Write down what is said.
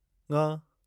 ङ